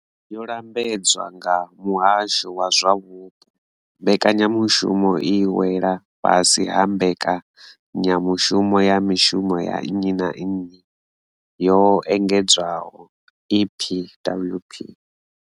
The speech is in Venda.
Yo lambedzwa nga muhasho wa zwa vhuupo, mbekanyamushumo i wela fhasi ha mbekanyamushumo ya mishumo ya nnyi na nnyi yo engedzwaho EPWP.